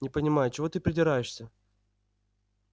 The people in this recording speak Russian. не понимаю чего ты придираешься